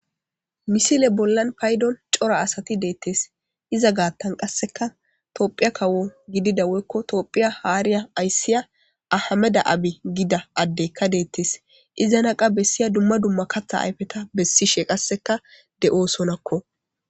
Misile bollan payddon cora asati deettees iza gaattan qasseka toophphiya kawo gidida woykko toophphiya haariya ayssiya ahameda abi gida addekka deettees izana qaa bessiya dumma dumma kaththa ayfeta bessishshe qasseka de'osonakko